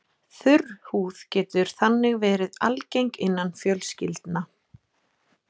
Þurr húð getur þannig verið algeng innan fjölskyldna.